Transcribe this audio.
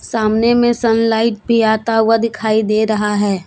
सामने में सनलाइट भी आता हुआ दिखाई दे रहा है।